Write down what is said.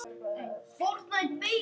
Hagur á járn og tré.